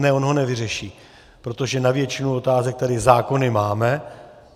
Ne, on ho nevyřeší, protože na většinu otázek tady zákony máme.